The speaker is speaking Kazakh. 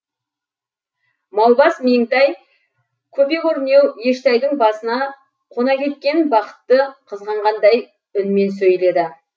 маубас меңтай көпе көрнеу ештайдың басына қона кеткен бақытты қызғанғандай үнмен сөйледі